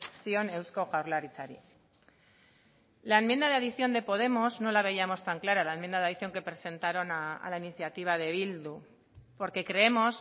zion eusko jaurlaritzari la enmienda de adición de podemos no la veíamos tan clara la enmienda de adición que presentaron a la iniciativa de bildu porque creemos